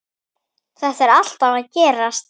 Þetta var alltaf að gerast.